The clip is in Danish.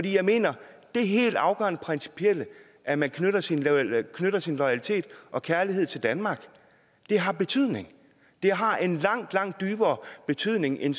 jeg mener at det helt afgørende principielle at man knytter sin knytter sin loyalitet og kærlighed til danmark har betydning det har en langt langt dybere betydning end